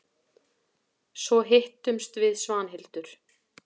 Svo hittumst við Svanhildur.